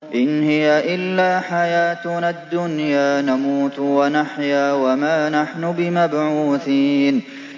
إِنْ هِيَ إِلَّا حَيَاتُنَا الدُّنْيَا نَمُوتُ وَنَحْيَا وَمَا نَحْنُ بِمَبْعُوثِينَ